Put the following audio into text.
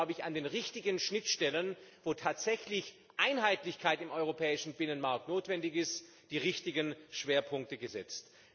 Hier haben Sie glaube ich an den richtigen Schnittstellen, wo tatsächlich Einheitlichkeit im europäischen Binnenmarkt notwendig ist, die richtigen Schwerpunkte gesetzt.